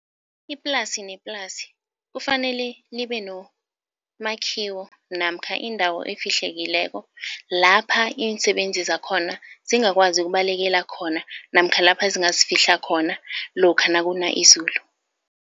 Iplasi neplasi kufanele libe nomakhiwo namkha indawo efihlekileko lapha iinsebenzi zakhona zingakwazi ukubalekela khona namkha lapha zingazifihla khona lokha nakuna izulu.